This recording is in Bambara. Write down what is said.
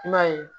I m'a ye